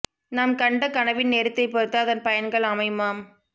நாம் கண்ட கனவின் நேரத்தை பொருத்து அதன் பயன்கள் அமையுமாம்